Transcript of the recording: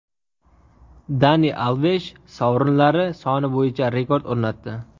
Dani Alvesh sovrinlari soni bo‘yicha rekord o‘rnatdi.